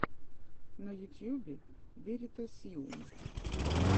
на ютьюбе веритасиум